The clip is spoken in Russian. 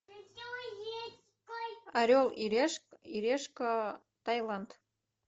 орел и решка тайланд